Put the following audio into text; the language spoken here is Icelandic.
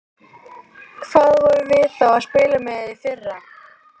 Hvað vorum við þá að spila með í fyrra?